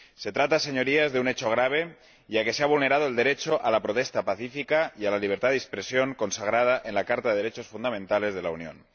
Se trata, señorías, de un hecho grave, ya que se ha vulnerado el derecho a la protesta pacífica y a la libertad de expresión, consagrada en la Carta de los Derechos Fundamentales de la Unión.